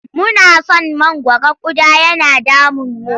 Muna san mangwaro ƙuda yana damunmu.